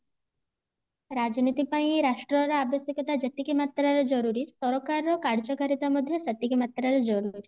ରାଜନୀତି ପାଇଁ ରାଷ୍ଟ୍ର ର ଆବଶ୍ୟକତା ଯେତିକି ମାତ୍ରା ରେ ଜରୁରୀ ସରକାର ର କାର୍ଯ୍ୟକାରିତା ମଧ୍ୟ ସେତିକି ମାତ୍ରା ରେ ଜରୁରୀ